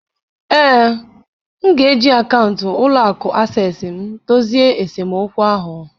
Ee, m ga-eji akaụntụ ụlọ akụ Access m dozie esemokwu ahụ